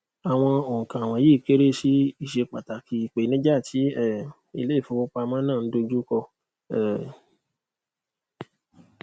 àwọn oùnkà wọnyíí kéré sí ìṣe pàtàkì ìpèníjà tí um ilé ìfowópamọ náà ń dojú kọ um